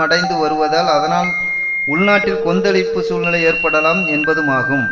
அடைந்துவருவதால் அதனால் உள்நாட்டில் கொந்தளிப்பு சூழ்நிலை ஏற்படலாம் என்பதுமாகும்